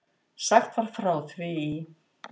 Sagt var frá því í